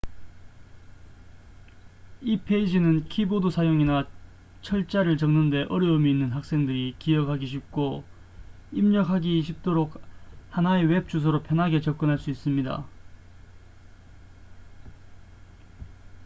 이 페이지는 키보드 사용이나 철자를 적는 데 어려움이 있는 학생들이 기억하기 쉽고 입력하기 쉽도록 하나의 웹 주소로 편하게 접근할 수 있습니다